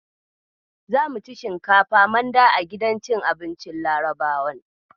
Zamu ci shinkafa manda a gidan cin abincin Larabawan.